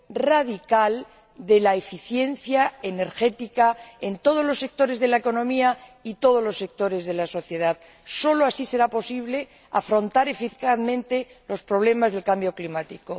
radical de la eficiencia energética en todos los sectores de la economía y en todos los sectores de la sociedad. Sólo así será posible afrontar eficazmente los problemas del cambio climático.